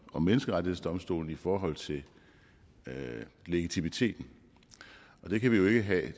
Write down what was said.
og menneskerettighedsdomstolen i forhold til legitimiteten det kan vi jo ikke have det